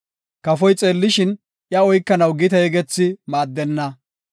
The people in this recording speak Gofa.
Kafoy xeellishin, iya oykanaw gite yegethi maaddenna.